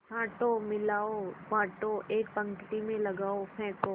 छाँटो मिलाओ बाँटो एक पंक्ति में लगाओ फेंको